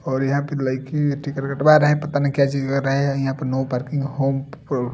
और यहाँ पे लाइकी टिकट कटवा रहा है पता नहीं क्या चीज कर रहा है यहाँ पर नो पार्किंग होम ---